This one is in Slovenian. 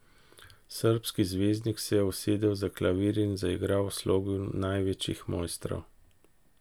Srbski zvezdnik se je usedel za klavir in zaigral v slogu največjih mojstrov.